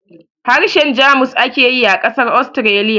Harshen Jamus ake yi a ƙasar Austria